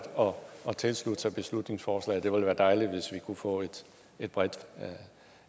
og tilslutte sig beslutningsforslaget det ville være dejligt hvis vi kunne få en bred